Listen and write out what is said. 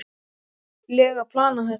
lega planað þetta vel.